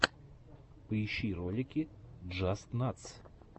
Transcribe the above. поищи ролики джастнатс